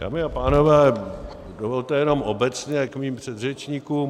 Dámy a pánové, dovolte jenom obecně k mým předřečníkům.